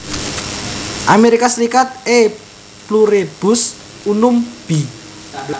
Amerika Serikat E pluribus unum b